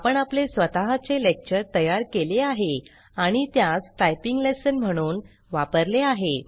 आपण आपले स्वतः चे लेक्चर तयार केले आहे आणि त्यास टाइपिंग लेसन म्हणून वापरले आहे